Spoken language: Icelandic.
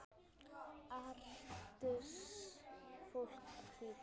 Artist fólks Hvíta.